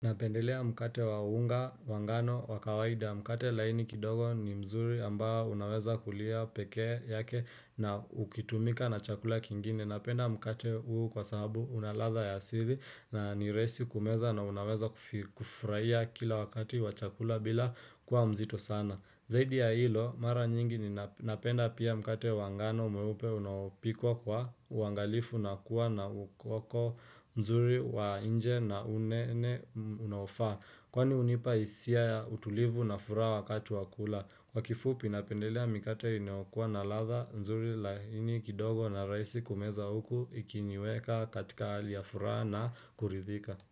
Napendelea mkate wa unga wa ngano wa kawaida mkate laini kidogo ni mzuri ambao unaweza kuliwa pekee yake na ukitumika na chakula kingine. Napenda mkate huu kwa sababu una ladha ya asili na ni rahisi kumeza na unaweza kufurahia kila wakati wa chakula bila kuwa mzito sana. Zaidi ya hilo, mara nyingi ninapenda pia mkate wa ngano mwewupe unaopikwa kwa uangalifu na kuwa na ukoko mzuri wa nje na unene unaofaa. Kwani hunipa hisia utulivu na furaha wakati wa kula. Kwa kifupi napendelea mkate inayokuwa na ladha nzuri laini kidogo na rahisi kumeza huku ikiniweka katika hali ya furaha na kuridhika.